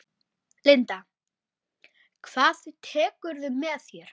Linda: Hvað tekurðu með þér?